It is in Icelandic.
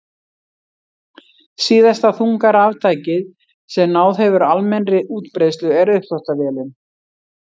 Síðasta þunga raftækið sem náð hefur almennri útbreiðslu er uppþvottavélin.